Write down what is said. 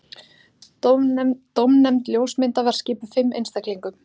Dómnefnd ljósmynda var skipuð fimm einstaklingum